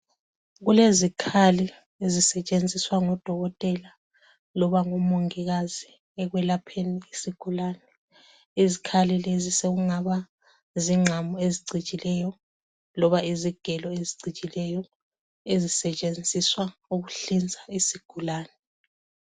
Kulezikhali ezisetshenziswa ngodokotela loba ngomongikazi ekwelapheni isigulane. Izikhali lezi sokungaba zingqamu ezicijileyo loba izigelo ezicijileyo ezisetshenziswa ukuhlinza isigulane.